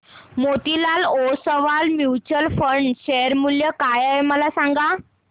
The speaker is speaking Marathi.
मोतीलाल ओस्वाल म्यूचुअल फंड चे शेअर मूल्य काय आहे सांगा